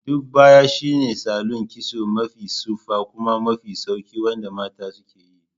Duk baya shine salon kitso mafi tsufa kuma mafi sauƙi wanda mata ke yi.